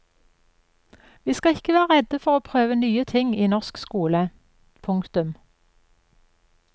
Vi skal ikke være redde for å prøve nye ting i norsk skole. punktum